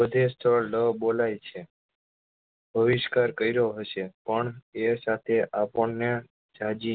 બધે સ્થળ લ બોલાય છે બહિષ્કાર કર્યો હશે પણ એ સાથે આપણને જાજી